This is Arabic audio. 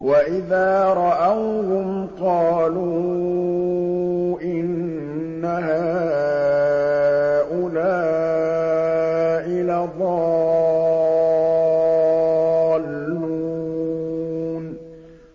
وَإِذَا رَأَوْهُمْ قَالُوا إِنَّ هَٰؤُلَاءِ لَضَالُّونَ